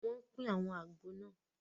Wọn pín àwọn àgbò náà